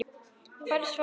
Hvar var Sölvi?